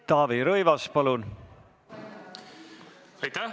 Taavi Rõivas, palun!